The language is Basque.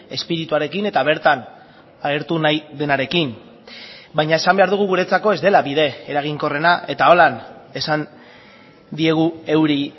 espirituarekin eta bertan agertu nahi denarekin baina esan behar dugu guretzako ez dela bide eraginkorrena eta horrela esan diegu euri